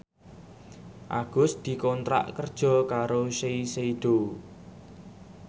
Agus dikontrak kerja karo Shiseido